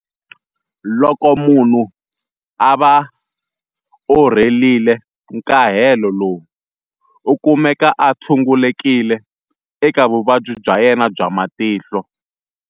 Loko munhu a va orhelile nkahelo lowu, u kumeka a tshungulekile eka vuvabyi bya yena bya matihlo.